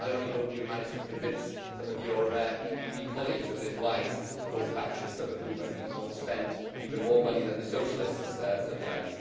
I only hope you manage to convince some of your PPE colleagues of this wise course of action, some of whom it seems want to spend even more money than the Socialists sometimes.